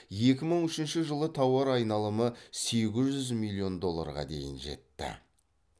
екі мың үшінші жылы тауар айналымы сегіз жүз миллион долларға дейін жетті